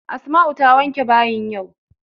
Asma'u ta wanke bayin yau.